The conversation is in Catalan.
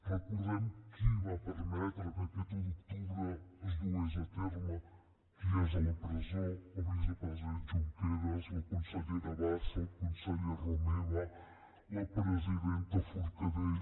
recordem qui va permetre que aquest un d’octubre es dugués a terme qui és a la presó el vicepresident junqueras la consellera bassa el conseller romeva la presidenta forcadell